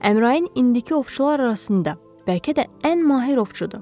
Əmrayın indiki ovçular arasında bəlkə də ən mahir ovçudur.